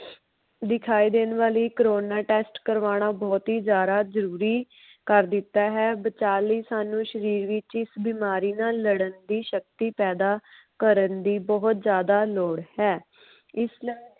ਦਿਖਾਇ ਦੇਣ ਵਾਲੀ corona test ਕੁਰਬਾਣਾ ਬਹੁਤ ਹੀ ਜ਼ਿਆਦਾ ਜਰੂਰੀ ਕਰ ਦਿਤਾ ਹੈ ਬਚਾ ਲਈ ਸਾਨੂ ਸ਼ਰੀਰ ਵਿਚ ਹੀ ਇਸ ਬਿਮਾਰੀ ਨਾਲ ਲੜਨ ਦੀ ਸ਼ਕਤੀ ਪੈਦਾ ਕਰਨ ਦੀ ਬਹੁਤ ਜ਼ਿਆਦਾ ਲੋੜ ਹੈ ਇਸ ਦਾ